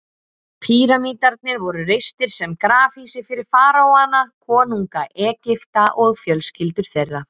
Píramídarnir voru reistir sem grafhýsi fyrir faraóana, konunga Egypta, og fjölskyldur þeirra.